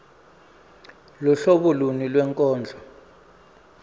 luhlobo luni lwenkondlo